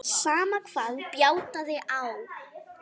Sama hvað bjátaði á.